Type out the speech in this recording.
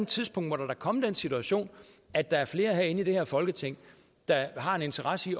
tidspunkt må der da komme den situation at der er flere herinde i det her folketing der har en interesse i